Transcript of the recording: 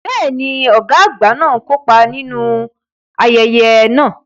Bẹ́ẹ̀ ni, ọ̀gá àgbà náà kópa nínú àwọn ayẹyẹ náà